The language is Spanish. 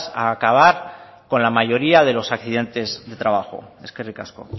a acabar con la mayoría de los accidentes de trabajo eskerrik asko